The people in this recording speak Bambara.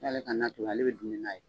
K'ale ka n'a to yen, ale bɛ dunmɛ n'a ye.